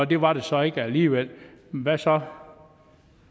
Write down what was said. det var det så ikke alligevel hvad så